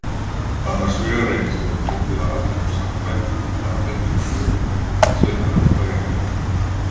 Annars vegar reynist það oft ofviða almennum sagnfræðingum að fjalla um sögu sérhæfðra fræðigreina.